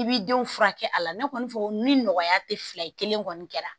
i b'i denw furakɛ a la ne kɔni fɔ ni nɔgɔya tɛ fila ye kelen kɔni kɛra